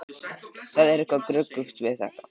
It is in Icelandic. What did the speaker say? Það er eitthvað gruggugt við þetta!